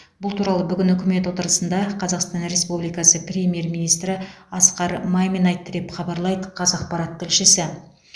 бұл туралы бүгін үкімет отырысында қазақстан республикасы премьер министрі асқар мамин айтты деп хабарлайды қазақпарат тілшісі